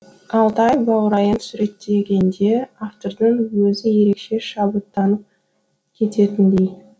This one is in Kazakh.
алтай баурайын суреттегенде автордың өзі ерекше шабыттанып кететіндей